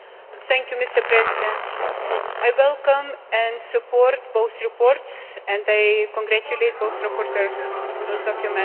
Mr President, I welcome and support both reports and I congratulate both rapporteurs on those documents.